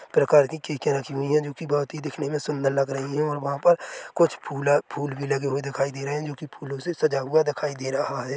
--प्रकार की खिड़कियां रखीं हुई है जो की दिखने मे बोहोत ही सुंदर लग रही है और वहा पर कुछ फुला फूल भी लगे हुए दिखाई दे रहें है जो की फूलो से सजा हुआ दिखाई दे रहा है।